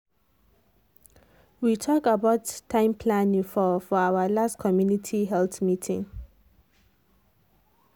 we talk about time planning for for our last community health meeting.